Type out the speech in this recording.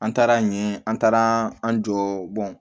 An taara ɲɛ an taara an jɔ